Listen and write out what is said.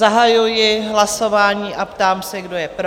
Zahajuji hlasování a ptám se, kdo je pro?